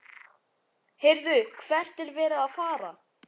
HEYRÐU, HVERT ER VERIÐ AÐ FARA?